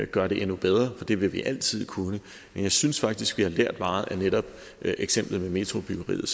gøre det endnu bedre for det vil vi altid kunne men jeg synes faktisk vi har lært meget af netop eksemplet med metrobyggeriet